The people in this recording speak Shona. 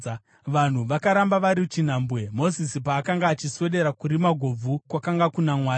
Vanhu vakaramba vari chinhambwe, Mozisi paakanga achiswedera kurima gobvu kwakanga kuna Mwari.